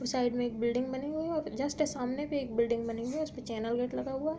Side में एक building बनी हुई है। जस्ट सामने भी एक बिल्डिंग बनी हुई है उसपे चैनल गेट लगा हुआ--